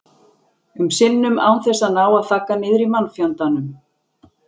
um sinnum án þess að ná að þagga niður í mannfjandanum.